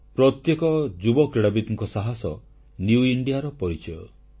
ପ୍ରତ୍ୟେକ ଯୁବ କ୍ରୀଡ଼ାବିତଙ୍କ ସାହାସ ନିଉ ଇଣ୍ଡିଆର ପରିଚୟ